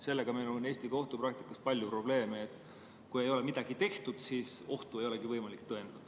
Sellega on meil Eesti kohtupraktikas palju probleeme: kui ei ole midagi tehtud, siis ohtu ei olegi võimalik tõendada.